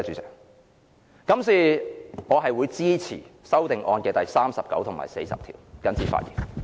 所以，我支持修正案編號39和40。